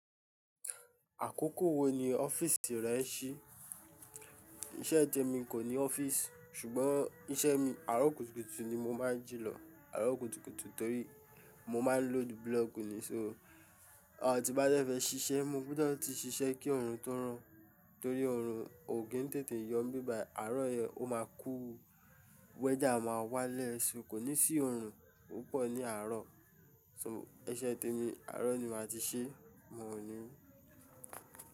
Àkókò wo ni ọ́fíìsì rẹ ṣí? Iṣẹ́ tèmi kò ní ọ́fíìsì ṣùgbọ́n iṣẹ́ mi àárọ̀ kùtùkùtù ni mo máa ń jì lọ. Àárọ̀ kùtùkùtù torí mo máa ń load block ni, so à ti n bá dẹ́ fẹ́ ṣiṣẹ́, mo gbọ́dọ̀ ti ṣiṣẹ́ kí oorun tó rọ̀. Torí òòrùn ò kì ń tètè yọ níbí bàyí àárọ̀ yẹn ó máa cool, weather máa wálẹ̀, kò ní sí òòrùn púpọ̀ ní àárọ̀. Iṣẹ́ t'èmi àárọ̀ ni màá ti ṣeé, mi ò ní.